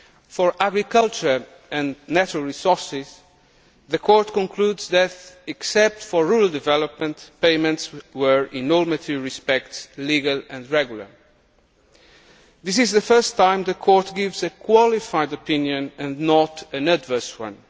For Agriculture and natural resources, the Court concludes that, except for rural development, payments were, in all material respects, legal and regular. This is the first time the Court gives a qualified opinion and not an adverse one.